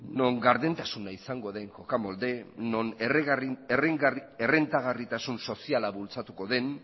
non gardentasuna izango den jokamolde non errentagarritasun soziala bultzatuko den